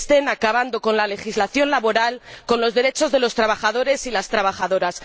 acaben con la legislación laboral, con los derechos de los trabajadores y las trabajadoras.